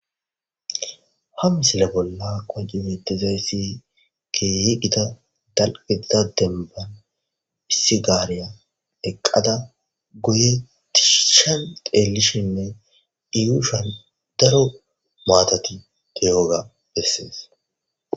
ha misile bolla koci beetezayssi ke yiiqita dalqeza denban issi gaareya eqqada goyetishan deelishinne iyuushan daro maatati diyoga bessees